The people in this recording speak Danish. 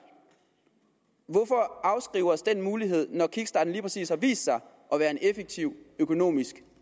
hvorfor afskrive os den mulighed når kickstarten lige præcis har vist sig at være en effektiv økonomisk